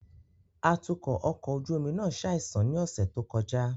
Atukọ ọkọ ojú omi náà ṣaisan ni ọsẹ to kọja